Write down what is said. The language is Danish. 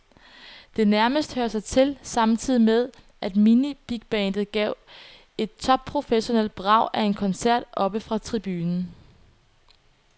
Det nærmest hører sig til, samtidig med at mini-bigbandet gav et top-professionelt brag af en koncert oppe fra tribunen.